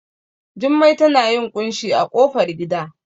Jummai tana yin ƙunshi a ƙofar gida